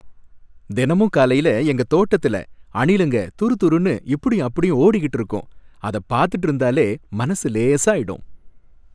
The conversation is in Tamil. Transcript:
தினமும் காலையில எங்க தோட்டத்துல அணிலுங்க துறுதுறுன்னு இப்படியும் அப்படியும் ஓடிக்கிட்டு இருக்கும், அத பார்த்துட்டு இருந்தாலே மனசு லேசாயிடும்